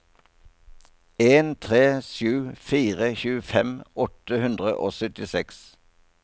en tre sju fire tjuefem åtte hundre og syttiseks